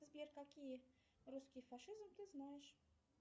сбер какие русские фашизм ты знаешь